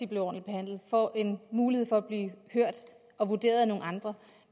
bliver ordentligt behandlet får en mulighed for at blive hørt og vurderet af nogle andre